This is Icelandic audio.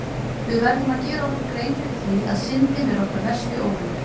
Við verðum að gera okkur grein fyrir því að Syndin er okkar versti óvinur!